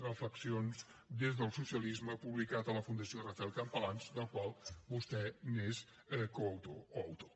reflexions des del socialisme publicat per la fundació rafael campalans del qual vostè és coautor o autor